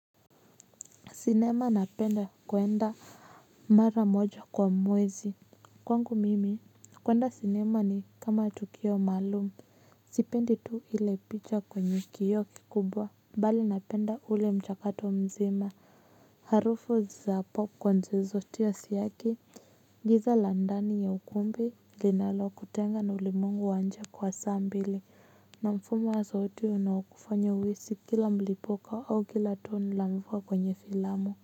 Sinema napenda kwenda mara moja kwa mwezi. Kwangu mimi, kwenda sinema ni kama tukio maalumu. Sipendi tu ile picha kwenye kioo kikubwa. Bali napenda ule mchakato mzima. Harufu za popcorn zilizotiwa siaki. Giza la ndani ya ukumbi linalo kutenga na ulimwengu wa nje kwa saa mbili. Na mfuma wa sauti unaokufanya uhisi kila mlipuka au kila tone la mvua kwenye filamu.